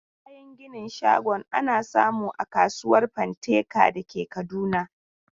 Kayan ginin shagon ana samu a kasuwar Fanteka da ke Kaduna.